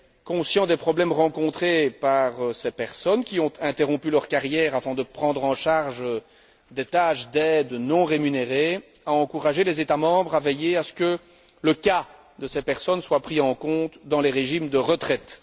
Conscient des problèmes rencontrés par ces personnes qui ont interrompu leur carrière avant de prendre en charge des tâches d'aide non rémunérées, le Conseil a encouragé les États membres à veiller à ce que le cas de ces personnes soit pris en compte dans les régimes de retraite.